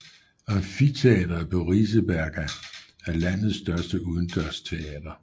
Amfiteatret på Riseberga er landets største udendørsteater